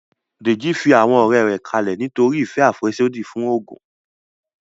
Dèjì fi àwọn ọ̀rẹ́ rẹ̀ kalẹ̀ nítorí ìfẹ́ àfẹ́sódì fún oògùn